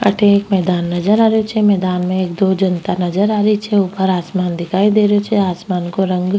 अठे एक मैदान नजर आ रहियो छे मैदान मे एक दो जनता नजर आ रही छे उपर आसमान दिखाई दे रियो छे आसमान को रंग --